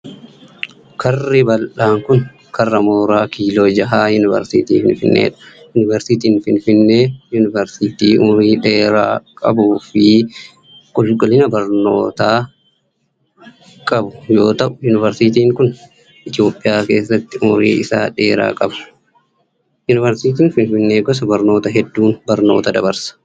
Karri bal'aan kun, karraa mooraa Kiiloo Jahaa Yuunivarsiitii Finfinnee dha. Yuunivarsiitiin Finfinnee yuunivarsiitii umurii dheeraa qabuu fi qulqullina barnootaa barnootaa qabu yoo ta'u, yuunivarsiitiin kun Itoophiyaa keessatti umurii isa dheeraa qaba. Yuunivarsiitiin Finfinnee gosa barnootaa hedduun barnoota dabarsa.